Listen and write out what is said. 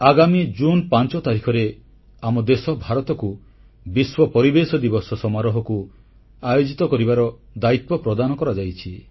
ଆଗାମୀ ଜୁନ୍ 5 ତାରିଖରେ ଆମ ଦେଶ ଭାରତକୁ ବିଶ୍ୱ ପରିବେଶ ଦିବସ ସମାରୋହ ଆୟୋଜିତ କରିବାର ଦାୟିତ୍ୱ ପ୍ରଦାନ କରାଯାଇଛି